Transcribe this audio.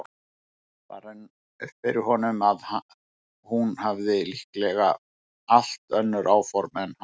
Það rann upp fyrir honum að hún hefði líklega allt önnur áform en hann.